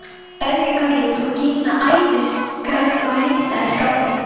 Öðru hverju tók Gína æðisköst og heimtaði skápinn.